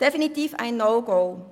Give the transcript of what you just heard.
Das ist definitiv ein No-Go!